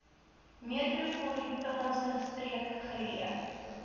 metropolitaanse streek geleë